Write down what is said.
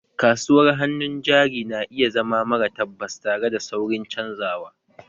Kasuwar hannun jari na iya zama mara tabbas, tare da saurin canzawa